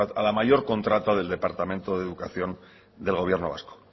a la mayor contrata del departamento de educación del gobierno vasco